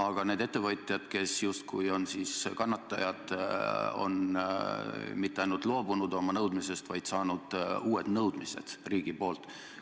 Aga need ettevõtjad, kes justkui on kannatajad, pole mitte ainult loobunud oma nõudmisest, vaid saanud uued nõudmised riigi poolt.